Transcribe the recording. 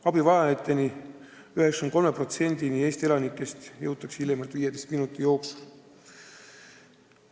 Eestis elanikest 93%-ni jõutakse abi andma kõige rohkem 15 minuti jooksul.